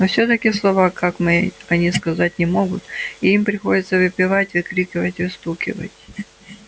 но всё-таки слова как мы они сказать не могут и им приходится выпевать выкрикивать выстукивать